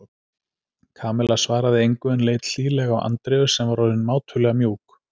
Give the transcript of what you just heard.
Kamilla svaraði engu en leit hlýlega á Andreu sem var orðin mátulega mjúk.